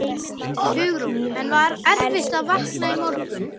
Hugrún: En var erfitt að vakna í morgun?